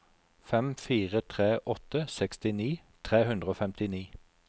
fem fire tre åtte sekstini tre hundre og femtini